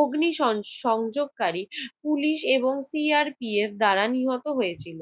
অগ্নিসং~সংযোগকারী পুলিশ এবং PRP এর দ্বারা নিহত হয়েছিল।